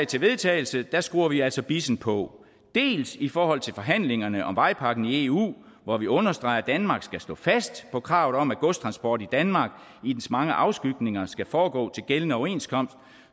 til vedtagelse skruer vi altså bissen på dels i forhold til forhandlingerne om vejpakken i eu hvor vi understreger at danmark skal stå fast på kravet om at godstransport i danmark i dens mange afskygninger skal foregå til gældende overenskomst